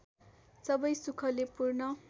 सबै सुखले पूर्ण